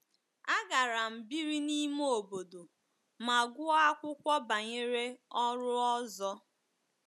Agara m biri n’ime obodo ma gụọ akwụkwọ banyere ọrụ ọzọ.